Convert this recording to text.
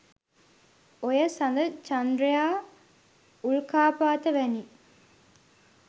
ඔය සඳ චන්ද්‍රයා උල්කාපාත වැනි